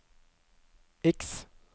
X